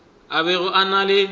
a bego a na le